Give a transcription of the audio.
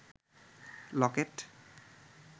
Locket